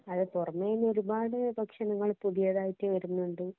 അത് പുറമേ നിന്നു ഒരുപാട് ഭക്ഷണങ്ങള്‍ പുതിയതായിട്ട് വരുന്നുണ്ട്.